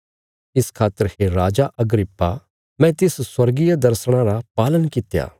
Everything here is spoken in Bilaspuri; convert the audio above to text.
इस खातर हे राजा अग्रिप्पा मैं तिस स्वर्गीय दर्शणा रा पालन कित्या